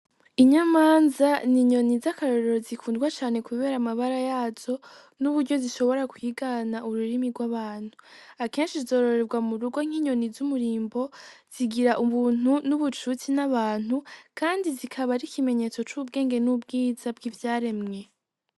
Inyamanza ni inyoni z'akarorero zikundwa cane, kubera amabara yazo n'uburyo zishobora kwigana ururimi rw'abantu akenshi izororerwa mu rugo nk'inyoni z'umurimbo zigira ubuntu n'ubucutsi n'abantu, kandi zikaba ari ikimenyetso c'ubwenge n'ubwiza bw'ivyaremwe.